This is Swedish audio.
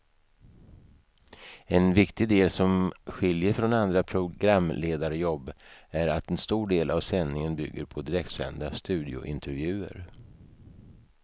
En viktig del som skiljer från andra programledarjobb är att en stor del av sändningen bygger på direktsända studiointervjuer.